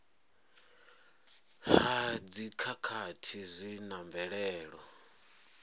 ha dzikhakhathi zwi na mvelelo